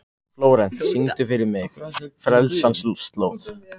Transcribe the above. Flórent, syngdu fyrir mig „Frelsarans slóð“.